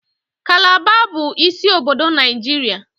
Kalaba bụ isi obodo Nigeria